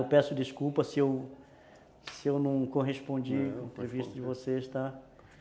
Eu peço desculpa se eu se eu não correspondi ao previsto de vocês, tá,